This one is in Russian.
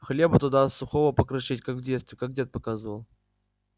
хлеба туда сухого покрошить как в детстве как дед показывал